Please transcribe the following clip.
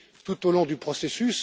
cultivée, tout au long du processus.